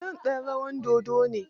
John ɗan rawar dodo ne.